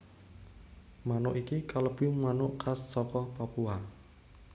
Manuk iki kalebu manuk khas saka Papua